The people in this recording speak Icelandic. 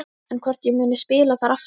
En hvort ég muni spila þar aftur?